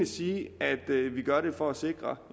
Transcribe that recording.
sige at vi gør det alene for at sikre